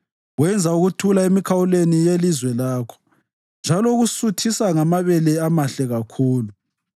Wenza ukuthula emikhawulweni yelizwe lakho. Njalo ukusuthisa ngamabele amahle kakhulu.